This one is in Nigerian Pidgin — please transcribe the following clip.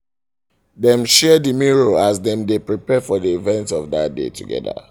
dem share the mirror as dem dae prepare for the events of that day together